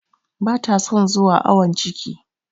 Ba ta son zuwa awon ciki.